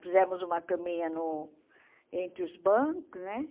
Fizemos uma caminha no entre os bancos, né?